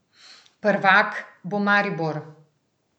Prvak bo Maribor.